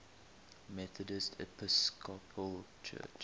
methodist episcopal church